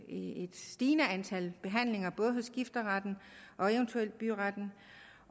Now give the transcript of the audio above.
et stigende antal behandlinger både hos skifteretten og eventuelt byretten